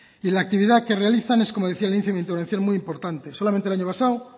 y la actividad que realizan es como decía en mi primera intervención muy importante solamente el año pasado